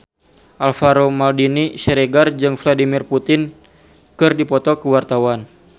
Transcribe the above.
Alvaro Maldini Siregar jeung Vladimir Putin keur dipoto ku wartawan